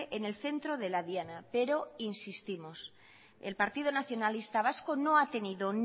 en el centro de la diana pero insistimos el partido nacionalista vasco no ha tenido